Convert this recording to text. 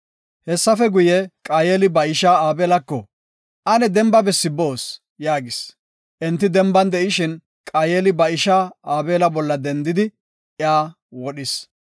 Hessafe guye, Qaayeli ba ishaa Aabelako, “Ane demba bessi boos” yaagis. Enti demban de7ishin, Qaayeli ba ishaa Aabela bolla dendidi iya wodhis.